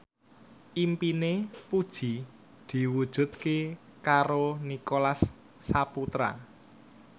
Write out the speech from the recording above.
impine Puji diwujudke karo Nicholas Saputra